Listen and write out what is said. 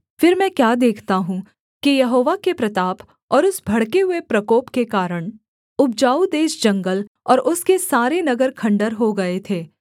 फिर मैं क्या देखता हूँ कि यहोवा के प्रताप और उस भड़के हुए प्रकोप के कारण उपजाऊ देश जंगल और उसके सारे नगर खण्डहर हो गए थे